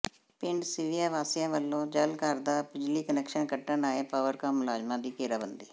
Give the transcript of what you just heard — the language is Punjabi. ਪਿੰਡ ਸਿਵੀਆਂ ਵਾਸੀਆਂ ਵੱਲੋਂ ਜਲ ਘਰ ਦਾ ਬਿਜਲੀ ਕੁਨੈਕਸ਼ਨ ਕੱਟਣ ਆਏ ਪਾਵਰਕਾਮ ਮੁਲਾਜ਼ਮਾਂ ਦੀ ਘੇਰਾਬੰਦੀ